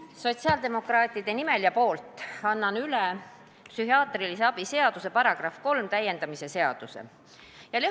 Annan sotsiaaldemokraatide nimel üle psühhiaatrilise abi seaduse § 3 täiendamise seaduse eelnõu.